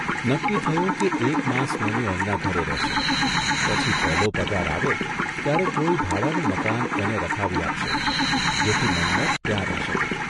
નક્કી થયું કે એક માસ મનુ એમના ઘરે રહેશે, પછી પહેલો પગાર આવે ત્યારે કોઇ ભાડાનું મકાન એને રખાવી આપશે જેથી મન્મથ ત્યાં રહી શકે.